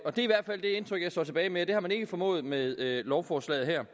står tilbage med at det har man ikke formået med lovforslaget her